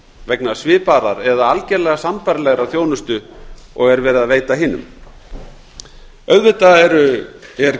vegna svipaðrar eða algerlega sambærilegrar þjónustu og er verið að veita hinum auðvitað er